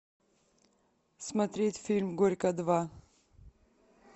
смотреть фильм горько два